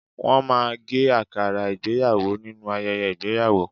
Wọ́n máa ń gé àkàrà ìgbéyàwò nínú ayẹyẹ ìgbéyàwó